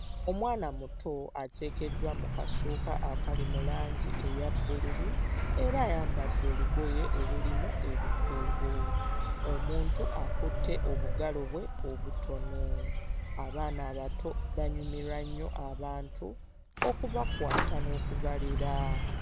Omwana muto ateekeddwa mu kasuuka akali mu langi eya bbululu era ayambadde olugoye olulimu ebikuubo. Omuntu akutte obugalo bwe obutono. Abaana abato banyumirwa nnyo abantu okubakwata n'okubalera.